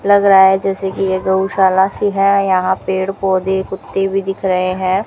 लग रहा है जैसे कि ये गौशाला सी है यहां पेड़ पौधे कुत्ते भी दिख रहे हैं।